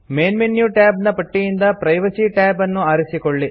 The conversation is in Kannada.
ಮೈನ್ ಮೆನು ಟ್ಯಾಬ್ಸ್ ನ ಪಟ್ಟಿಯಿಂದ ಪ್ರೈವಸಿ tab ಅನ್ನು ಆರಿಸಿಕೊಳ್ಳಿ